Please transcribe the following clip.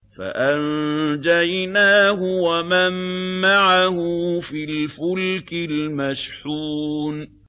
فَأَنجَيْنَاهُ وَمَن مَّعَهُ فِي الْفُلْكِ الْمَشْحُونِ